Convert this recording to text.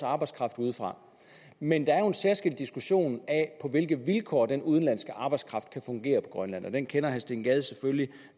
arbejdskraft udefra men der er jo en særskilt diskussion af på hvilke vilkår den udenlandske arbejdskraft kan fungere på grønland den kender herre steen gade selvfølgelig